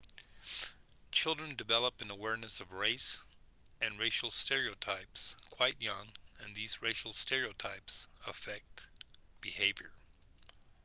children develop an awareness of race and racial stereotypes quite young and these racial stereotypes affect behavior